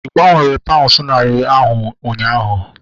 Ị gbanwere paunds narị ahu ụnyaahụ?